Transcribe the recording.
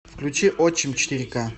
включи отчим четыре ка